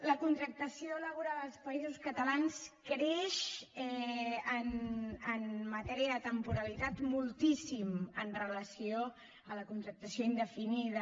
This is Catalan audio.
la contractació laboral als països catalans creix en matèria de temporalitat moltíssim amb relació a la contractació indefinida